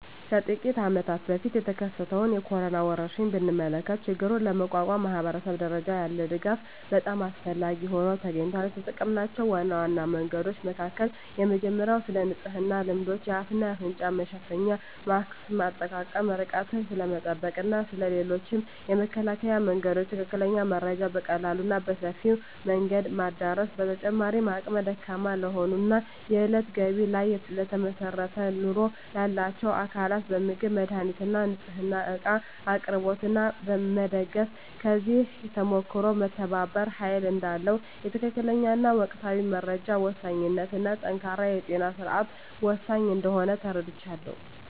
ከጥቂት አመታት በፊት የተከሰተውን የኮሮና ወረርሽኝ ብንመለከ ችግሩን ለመቋቋም ማኅበረሰብ ደረጃ ያለ ድጋፍ በጣም አስፈላጊ ሆኖ ተገኝቷል። የተጠምናቸው ዋና ዋና መንገዶች መካከል የመጀመሪያው ስለንጽህና ልማዶች፣ የአፍ እና አፍንጫ መሸፈኛ ማስክ አጠቃቀም፣ ርቀትን ስለመጠበቅ እና ስለ ሌሎችም የመከላከያ መንገዶች ትክክለኛ መረጃ በቀላሉ እና በሰፊው መንገድ ማዳረስ። በተጨማሪም አቅመ ደካማ ለሆኑ እና የእለት ገቢ ላይ ለተመሰረተ ኑሮ ላላቸው አካላት በምግብ፣ መድሃኒት እና ንፅህና እቃ አቅርቦት ላይ መደገፍ። ከዚህ ተሞክሮም መተባበር ኃይል እዳለው፣ የትክክለኛ እና ወቅታዊ መረጃ ወሳኝነት እና ጠንካራ የጤና ስርዓት ወሳኝ እንደሆነ ተረድቻለሁ።